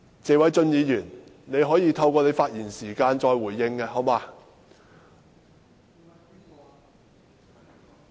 謝偉俊議員，你可以在你的發言時間再回應，好嗎？